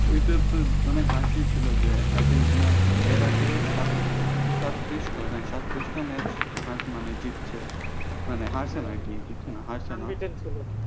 ওইটা তো অনেক হাসির ছিল যে আর্জেন্টিনা এর আগে সাত সত্তিরিশ তো হ্যাঁ সত্তিতিশ টা match হার মানে জিতছে মানে হারছে নাকি জিতছে না হারছে